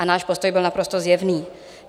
A náš postoj byl naprosto zjevný.